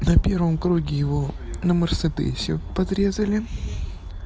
на первом круге его на мерседесе подрезали